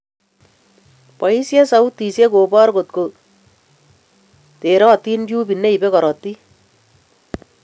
Boisien sautisiek kobor kotkoterot tubit neibe korotik